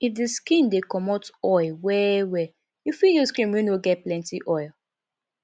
if di skin dey comot oil well well you fit use cream wey no get plenty oil